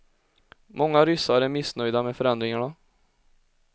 Många ryssar är missnöjda med förändringarna.